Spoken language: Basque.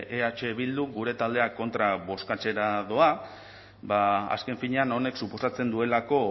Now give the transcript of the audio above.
eh bildu gure taldea kontra bozkatzera doa azken finean honek suposatzen duelako